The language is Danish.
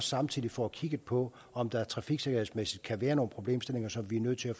samtidig får kigget på om der trafiksikkerhedsmæssigt kan være nogle problemstillinger som vi er nødt til at